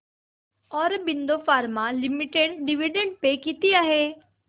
Aurobindo pharma limited dividend pay किती आहे